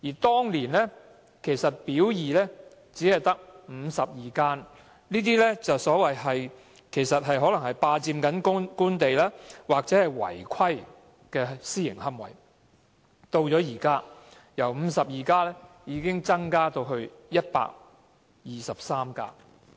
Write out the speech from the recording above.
當年"表二"只列出52家霸佔官地或違規的私營龕場，但現在違規的私營龕場已由52家增至123家。